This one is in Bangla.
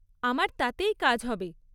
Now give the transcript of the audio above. আমার তাতেই কাজ হবে।